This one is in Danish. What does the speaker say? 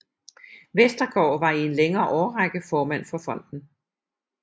Westergaard var i en længere årrække formand for fonden